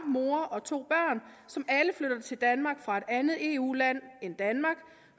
mor og to børn som alle flytter til danmark fra et andet eu land end danmark